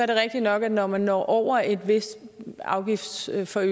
rigtigt nok at når man når over en vis afgiftsforøgelse